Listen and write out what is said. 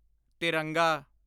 ਤਿਰੰਗਾ